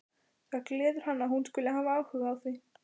Það gleður hann að hún skuli hafa áhuga á því.